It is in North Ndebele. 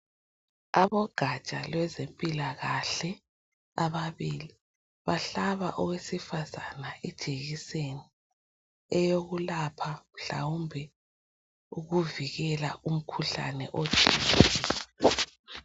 Abogatsha lwezempilakahle ababili bahlaba owesifazana ijekiseni eyokulapha mhlawumbe ukuvikela umkhuhlane othile.